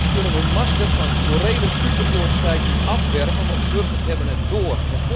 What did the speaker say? Zij kunnen hun masker van morele superioriteit nu afwerpen, want de burgers hebben het door.